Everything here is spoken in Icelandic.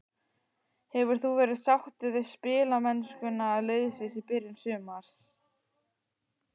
Hefur þú verið sáttur við spilamennskuna liðsins í byrjun sumars?